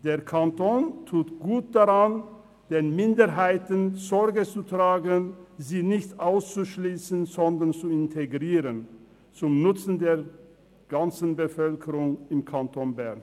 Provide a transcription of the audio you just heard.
Der Kanton tut gut daran, den Minderheiten Sorge zu tragen, sie nicht auszuschliessen, sondern zu integrieren – zum Nutzen der ganzen Bevölkerung im Kanton Bern.